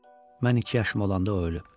Mən iki yaşım olanda o ölüb.